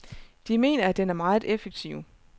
De mener, at den er meget effektiv.